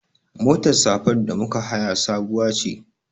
Motar safar da muka haya sabuwa ce.